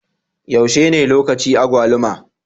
Yaushe ne lokaci agwaluma?